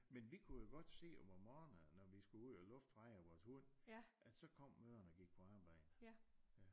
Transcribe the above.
Men vi kunne jo godt se om morgenerne når vi skulle ud og lufte Freja vores hund at så kom mødrene og gik på arbejde